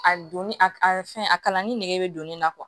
A donni a a fɛn a kalan ni nege bɛ don ne na